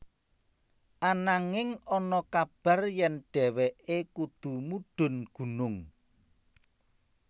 Ananging ana kabar yèn dhéwéké kudu mudhun gunung